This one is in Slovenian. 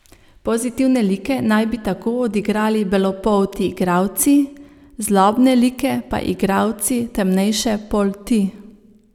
Pozitivne like naj bi tako odigrali belopolti igralci, zlobne like pa igralci temnejše polti.